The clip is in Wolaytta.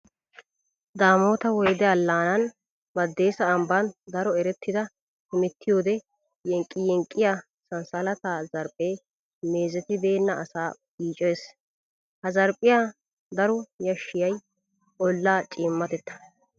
Daamot woyde allaanan Baddeessa ambban daro erettida hemettiyoode yenqqiyenqqiya sanssalata zarphphee meezetibeenna asaa yiicoyes. Ha zarphphiya daro yashissiyay ollaa ciimmatettaa.